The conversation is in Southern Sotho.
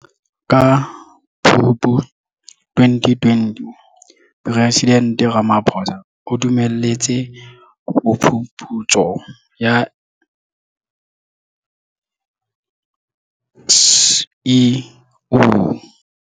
Ka Phupu 2020, Presidente Ramaphosa o dumelletse phuputso ya SIU.